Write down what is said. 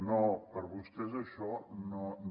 no per a vostès això no